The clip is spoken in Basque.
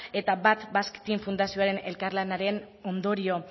eta bat basque team fundazioaren elkarlanaren ondorio